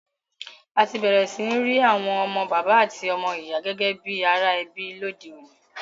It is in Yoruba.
A ti bẹ̀rẹ̀ si ni ri àwon ọmọ bàbá àti ọmọ ìyà gẹ́gẹ́ bi ara ebí lodeọ̀ní